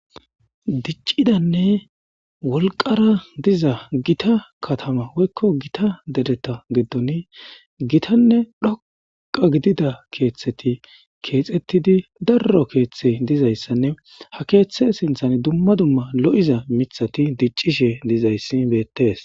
Diccidanne wolqara diza gita katama woykko gita dereta geddoni gitanne dhoqa gidida keeththeti keexettidi darro keeththe dizayssanne ha keeththe sinthan dumma dumma lo7iza mithati diccishe dizayssi beettes.